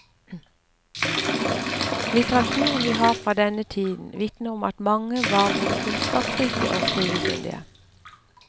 Litteraturen vi har fra denne tiden vitner om at mange var både kunnskapsrike og skrivekyndige.